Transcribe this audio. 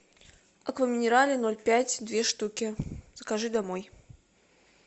акваминерале ноль пять две штуки закажи домой